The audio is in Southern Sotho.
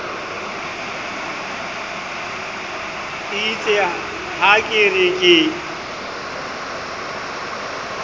eitse ha ke re ke